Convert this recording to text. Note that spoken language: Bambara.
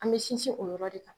An bɛ sinsin o yɔrɔ de kan